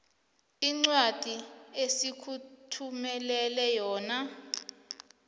incwadi esikuthumelele yona